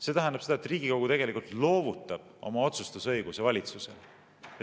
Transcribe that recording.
See tähendab seda, et Riigikogu tegelikult loovutab oma otsustusõiguse valitsusele.